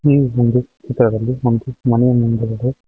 ಈ ಮುಂದೆ ಚಿತ್ರದಲ್ಲಿ ಒಂದು ಮನೆಯ ಮುಂದ್ಗಡೆ--